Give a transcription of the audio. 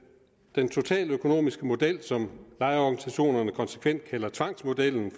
den totaløkonomiske model som lejerorganisationerne konsekvent kalder tvangsmodellen